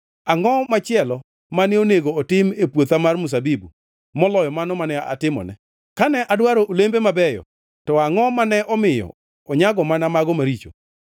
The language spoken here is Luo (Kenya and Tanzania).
Angʼo machielo mane onego otim e puotha mar mzabibu maloyo mano mane atimone? Kane adwaro olembe mabeyo to angʼo mane omiyo onyago mana mago maricho?